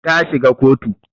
Ta shiga kotu